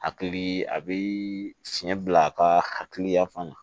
Hakili a bɛ fiɲɛ bila a ka hakiliya fana na